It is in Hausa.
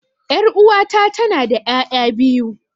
Yar'uwata tanada ƴaƴa biyu.